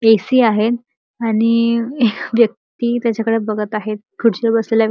AC. आहेत आणि अ व्यक्ती त्याच्याकडे बघत आहेत खुर्चीवर बसलेल्या--